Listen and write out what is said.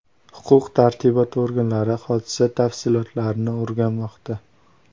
Huquq-tartibot organlari hodisa tafsilotlarini o‘rganmoqda.